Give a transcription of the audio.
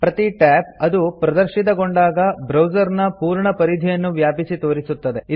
ಪ್ರತಿ ಟ್ಯಾಬ್ ಅದು ಪ್ರದರ್ಶಿತಗೊಂಡಾಗ ಬ್ರೌಸರ್ ನ ಪೂರ್ಣ ಪರಿಧಿಯನ್ನು ವ್ಯಾಪಿಸಿ ತೋರಿಸುತ್ತದೆ